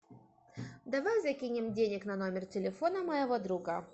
давай закинем денег на номер телефона моего друга